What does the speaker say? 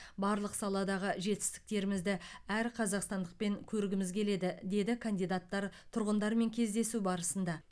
барлық саладағы жетістіктерімізді әр қазақстандықпен көргіміз келеді деді кандидаттар тұрғындармен кездесу барысында